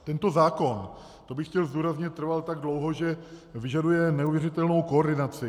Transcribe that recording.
Tento zákon - to bych chtěl zdůraznit - trval tak dlouho, že vyžaduje neuvěřitelnou koordinaci.